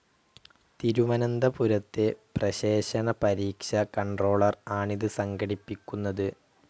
തിരുവനന്തപുരത്തെ പ്രശേഷണ പരീക്ഷ കൺട്രോളർ ആണിത് സംഘടിപ്പിക്കുന്നത്.